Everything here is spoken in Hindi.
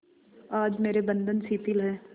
आज मेरे बंधन शिथिल हैं